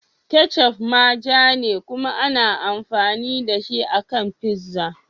Ketchup ma ja ne kuma ana amfani da shi a kan pizza.